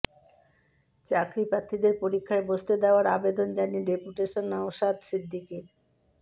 চাকরিপ্রার্থীদের পরীক্ষায় বসতে দেওয়ার আবেদন জানিয়ে ডেপুটেশন নওশাদ সিদ্দিকীর